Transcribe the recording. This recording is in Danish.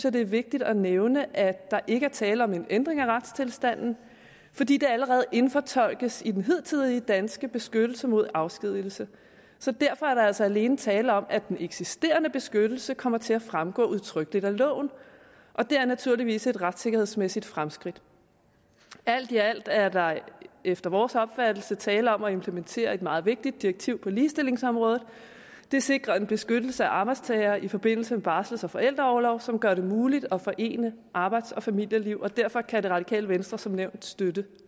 at det er vigtigt at nævne at der ikke er tale om en ændring af retstilstanden fordi det allerede indfortolkes i den hidtidige danske beskyttelse mod afskedigelse så derfor er der altså alene tale om at den eksisterende beskyttelse kommer til at fremgå udtrykkeligt af loven og det er naturligvis et retssikkerhedsmæssigt fremskridt alt i alt er der efter vores opfattelse tale om at implementere et meget vigtigt direktiv på ligestillingsområdet det sikrer en beskyttelse af arbejdstagere i forbindelse med barsels og forældreorlov som gør det muligt at forene arbejds og familieliv derfor kan det radikale venstre som nævnt støtte